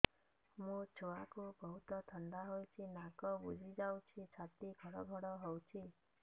ମୋ ଛୁଆକୁ ବହୁତ ଥଣ୍ଡା ହେଇଚି ନାକ ବୁଜି ଯାଉଛି ଛାତି ଘଡ ଘଡ ହଉଚି